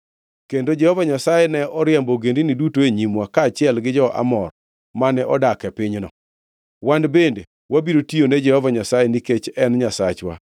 Kendo Jehova Nyasaye ne oriembo ogendini duto e nyimwa, kaachiel gi jo-Amor, mane odak e pinyno. Wan bende wabiro tiyone Jehova Nyasaye, nikech en e Nyasachwa.”